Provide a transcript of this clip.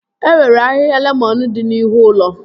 E nwere ahịhịa lemọn dị n'ihu ụlọ